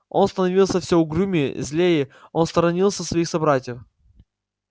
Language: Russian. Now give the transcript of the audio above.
он становился всё угрюмее злее он сторонился своих собратьев